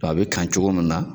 a bɛ tan cogo min na